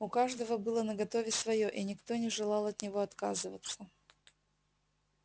у каждого было наготове своё и никто не желал от него отказываться